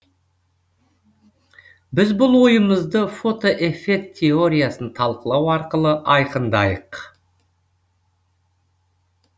біз бұл ойымызды фотоэффект теориясын талқылау арқылы айқындайық